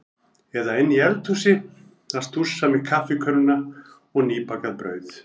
Eða inni í eldhúsi að stússa með kaffikönnuna og nýbakað brauð.